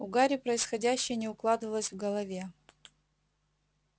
у гарри происходящее не укладывалось в голове